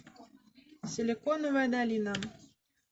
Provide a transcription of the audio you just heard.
силиконовая долина